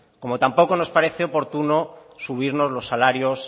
como tampoco nos pareció oportuno subirnos los salarios